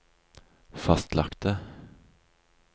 fastlagte